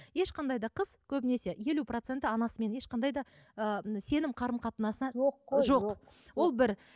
ешқандай да қыз көбінесе елу проценті анасымен ешқандай да ы сенім қарым қатынасына жоқ қой жоқ ол бір